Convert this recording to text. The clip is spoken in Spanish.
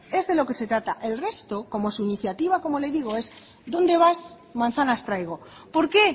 es de lo que se trata el resto como su iniciativa es como le digo es a dónde vas manzanas traigo por qué